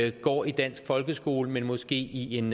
ikke går i dansk folkeskole men måske i en